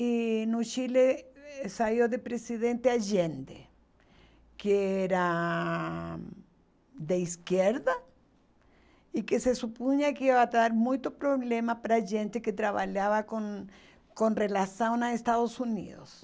E no Chile eh saiu de presidente Allende, que era de esquerda e que se supunha que ia dar muito problema para gente que trabalhava com com relação aos Estados Unidos.